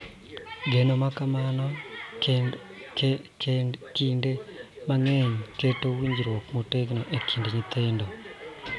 Geno ma kamano kinde mang�eny keto winjruok motegno e kind nyithindo,